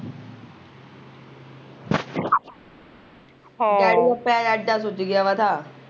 ਹਾਂ